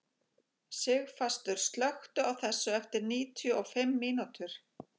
Sigfastur, slökktu á þessu eftir níutíu og fimm mínútur.